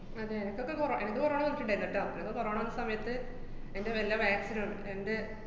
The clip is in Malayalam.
അതെ, എനക്കക്ക കൊറോ~ എനക്ക് corona വന്നിട്ട്ണ്ടായീന്ന്ട്ടാ. എനക്ക് corona വന്ന സമയത്ത് അയിന്‍റെ വല്ല vaccine നും എന്‍റെ